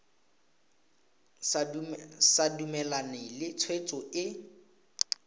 sa dumalane le tshwetso e